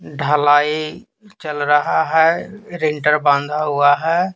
ढलाई चल रहा है रिंटर बांधा हुआ है।